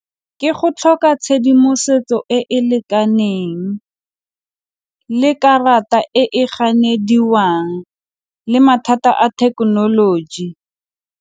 Ke go tlhoka tshedimosetso e e lekaneng le karata e e ganediwang le mathata a thekenoloji.